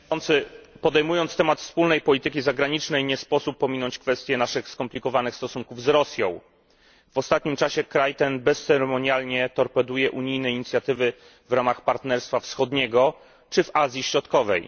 Panie Przewodniczący! Podejmując temat wspólnej polityki zagranicznej, nie sposób pominąć kwestii naszych skomplikowanych stosunków z Rosją. W ostatnim czasie kraj ten bezceremonialnie torpeduje unijnie inicjatywy w ramach Partnerstwa Wschodniego czy w Azji Środkowej.